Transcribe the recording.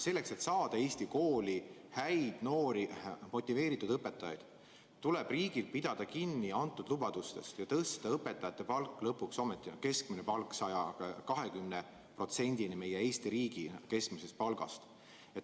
Selleks, et saada Eesti kooli häid noori motiveeritud õpetajaid, tuleb riigil pidada kinni antud lubadustest ja tõsta õpetajate keskmine palk lõpuks ometi 120%-ni võrreldes Eesti riigi keskmise palgaga.